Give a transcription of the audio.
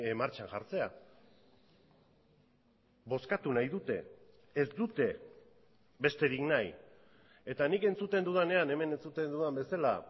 martxan jartzea bozkatu nahi dute ez dute besterik nahi eta nik entzuten dudanean hemen entzuten dudan bezala